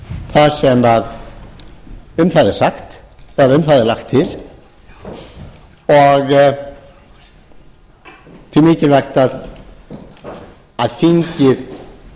það sem um það er sagt eða um það er lagt til og því mikilvægt að þingið